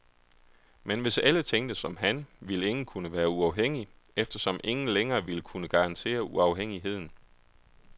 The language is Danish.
Men hvis alle tænkte som han, ville ingen kunne være uafhængig, eftersom ingen længere ville kunne garantere uafhængigheden.